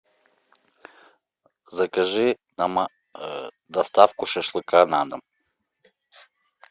закажи доставку шашлыка на дом